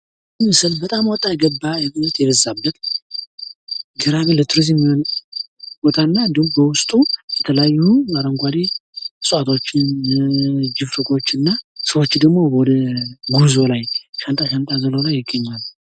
ይህ ምስል በጣም ወጣ ገባ የበዛበት ፤ ለቱሪዝም የሚሆን ቦታ እና እንዲሁም በዉስጡ የተለያዩ አረንጓዴ እጽዋቶችን ችፍርጎችን እና ሰዎቹ ደግሞ በጉዞ ላይ ፤ ሻንጣ ሻንጣ አዝለዉ ይገኛሉ።